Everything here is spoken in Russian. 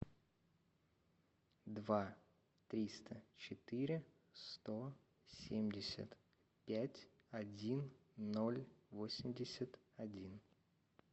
два триста четыре сто семьдесят пять один ноль восемьдесят один